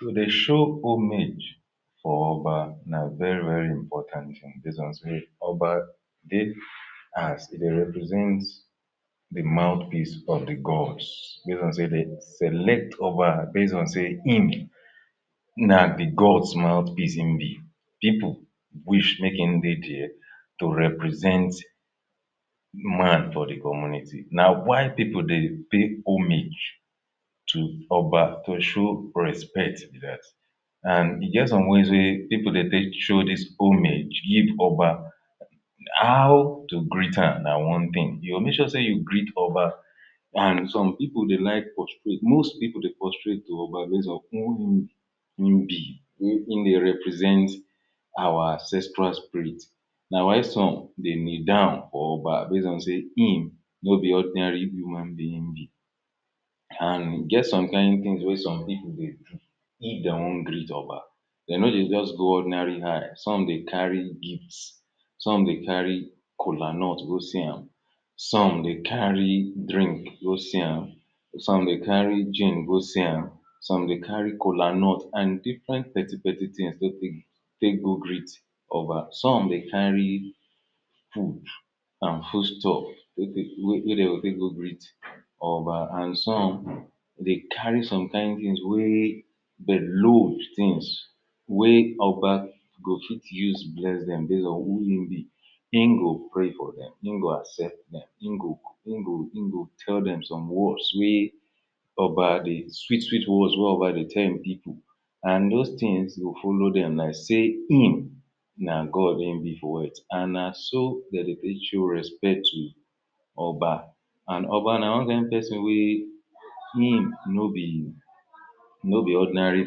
To dey show homage for oba na very very important thing base on sey, oba dey as de dey represent de mouth piece of de gods. Base on sey dey select oba base on sey im na gods mouth piece im be. people wish make im dey dia to represent man for dey community na why pipul dey pay homage to oba to show respect dat and e get some ways wey pipul dey take show dis homage give oba. How to greet am na one thing, you go make sure you greet oba and some pipul dey like prostrate, most pipul dey prostrate o by ways of who im, im be wey e dey represent our ancestral spirit na why some dey kneel down for oba base on sey im no be ordinary human being im be. and e get some kain things wey some pipul dey do if dem wan greet oba dem no dey just go ordinary hand, some dey carry gifts. Some dey carry kolanut go see am, some dey carry drink go see am, some dey carry gin go see am some dey carry kolanut and different petty petty things take go greeet oba, some dey carry food and foodstuff wey dey go take go greet oba and some dey carry some kain things wey dey load things wey oba wey go fit use bless dem base on who im be im go pray for dem, im go accept dem, im go tell dem some words wey oba dey sweet sweet words wey oba dey tell im people and those things go follow dem like say im na God im be for words na so dem dey take show respect to oba and oba na one kain person wey im no be no be ordinary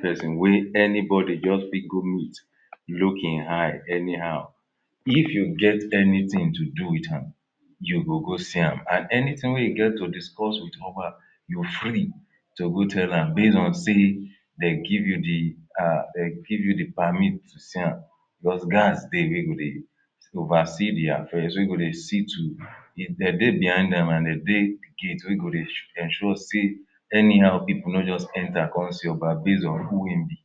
person wey anybody just fit go meet. look im eye anyhow, if you get anything to do with am you go go see am and anything wey you get to discuss with oba, you free to go tell am base on sey dey give you dey, dey give you dey permit to see am because guards dey wey go dey oversee dey affairs wey go dey see to, dem dey behind am and de dey gate wey go dey ensure sey anyhow people no just enter come see oba base on who im be.